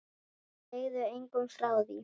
Segðu engum frá því!